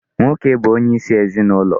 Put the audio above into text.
Nwoke bụ onyeisi ezinụlọ.